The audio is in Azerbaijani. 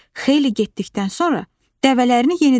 Xeyli getdikdən sonra dəvələrini yenidən saydı.